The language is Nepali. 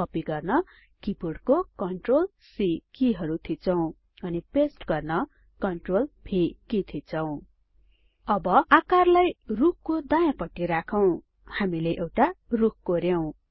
कपि गर्न किबोर्डको CTRLC किहरु थिचौं अनि पेस्ट गर्न CTRLV कि थिचौं अब आकारलाई रुखको दायाँपट्टि राखौं हामीले एउटा रुख कोर्यों